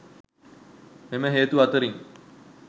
මෙම හේතු අතරින්